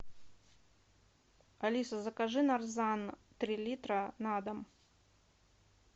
алиса закажи нарзан три литра на дом